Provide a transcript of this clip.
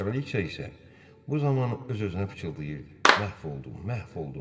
Kraliça isə bu zaman öz-özünə fışıltayırdı: Məhv oldum, məhv oldum.